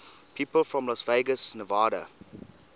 people from las vegas nevada